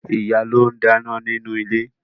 Ìyá ló ń dáná nínú ilé